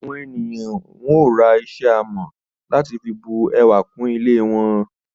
Àwọn ènìyàn yóò ra iṣẹ́ amọ̀ láti fi bu ẹwà kún ilé wọn.